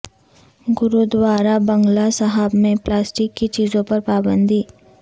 گرودوارا بنگلہ صاحب میں پلاسٹک کی چیزوں پر پابندی